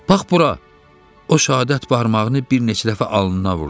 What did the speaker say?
Bax bura, o şəhadət barmağını bir neçə dəfə alnına vurdu.